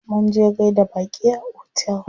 Munje gaida baƙi a otel.